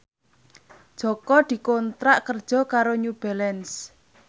Jaka dikontrak kerja karo New Balance